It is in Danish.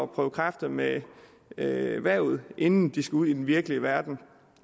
prøve kræfter med erhvervet inden de skal ud i den virkelige verden